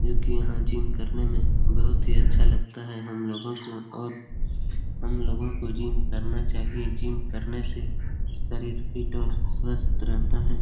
जब की यहाँ जिम करने में बहुत ही अच्छा लगता है हम लोगों को और हम लोगों को जिम करना चाहिए जिम करने से शरीर फिट और स्वस्थ रहता है।